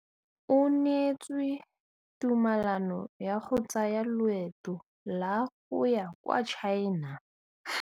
O neetswe tumalanô ya go tsaya loetô la go ya kwa China.